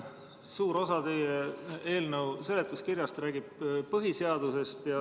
Suur osa teie eelnõu seletuskirjast räägib põhiseadusest.